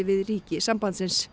við ríki sambandsins